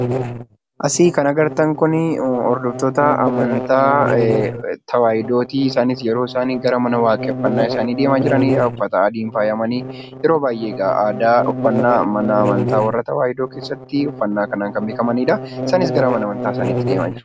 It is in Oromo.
Asii kan agartan kun hordoftoota amantaa tawaahidooti. Isaanis yeroo isaanii gara waaqeffannaa isaaniitti uffata adiin faayamanii deemaa jiranidha. Yeroo baay'ee aadaa uffannaa mana amantaa tawaahidoo keessatti kan beekamanidha. Isaanis gara mana amantaa isaaniitti deemaa jiru.